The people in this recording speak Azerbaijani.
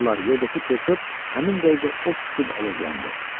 yerdəki çör-çöp həmin dəqiqə od tutub alovlandı.